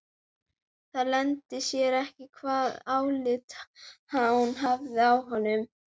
Það leyndi sér ekki hvaða álit hún hafði á honum.